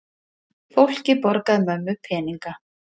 Fólkið borgaði mömmu peninga!